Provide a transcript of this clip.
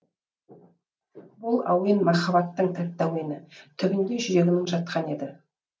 бұл әуен махаббаттың тәтті әуені түбінде жүрегінің жатқан еді